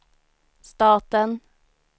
staten